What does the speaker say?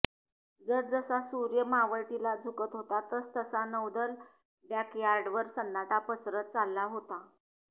जसजसा सूर्य मावळतीला झुकत होता तसतसा नौदल ड़ॅकयॉर्डवर सन्नाटा पसरत चालला होता